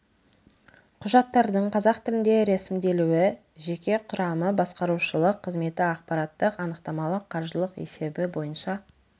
құжаттардың қазақ тілінде рәсімделуі жеке құрамы басқарушылық қызметі ақпараттық-анықтамалық қаржылық есебі бойынша